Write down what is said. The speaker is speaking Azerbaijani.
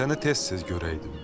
Səni tez-tez görəydim.